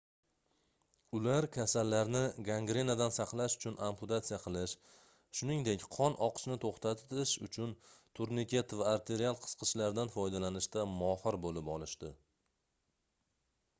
ular kasallarni gangrenadan saqlash uchun amputatsiya qilish shuningdek qon oqishini toʻxtatish uchun turniket va arterial qisqichlardan foydalanishda mohir boʻlib olishdi